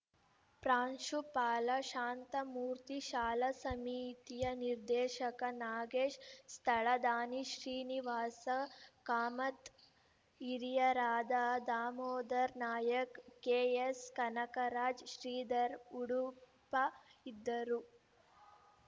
ಪ್ರಾಂಶುಪಾಲ ಶಾಂತಮೂರ್ತಿ ಶಾಲಾ ಸಮಿತಿಯ ನಿರ್ದೇಶಕ ನಾಗೇಶ ಸ್ಥಳ ದಾನಿ ಶ್ರೀನಿವಾಸ ಕಾಮತ್‌ ಹಿರಿಯರಾದ ದಾಮೋಧರ ನಾಯಕ್‌ ಕೆ ಎಸ್‌ ಕನಕರಾಜ್‌ ಶ್ರೀಧರ ಉಡುಪ ಇದ್ದರು